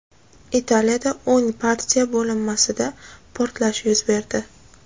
Italiyada o‘ng partiya bo‘linmasida portlash yuz berdi.